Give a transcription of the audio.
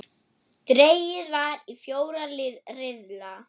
Dregið var í fjóra riðla.